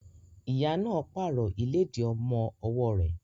Ìyá náà pààrọ̀ ìlédìí ọmọ ọwọ́ rẹ̀.